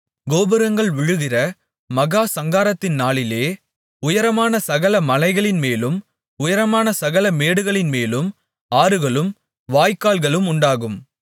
கோபுரங்கள் விழுகிற மகா சங்காரத்தின் நாளிலே உயரமான சகலமலைகளின்மேலும் உயரமான சகலமேடுகளின்மேலும் ஆறுகளும் வாய்க்கால்களும் உண்டாகும்